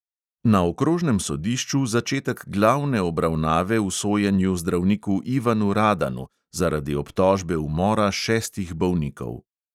Na okrožnem sodišču začetek glavne obravnave v sojenju zdravniku ivanu radanu zaradi obtožbe umora šestih bolnikov.